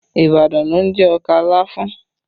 Ibadan ló ń jẹ ọkà láfún